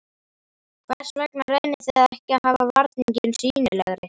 Hvers vegna reynið þið ekki að hafa varninginn sýnilegri?